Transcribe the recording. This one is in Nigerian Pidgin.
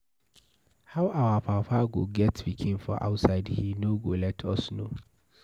How our papa go get pikin for outside he no go let us know.